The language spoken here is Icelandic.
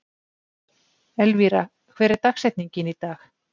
Elvira, hver er dagsetningin í dag?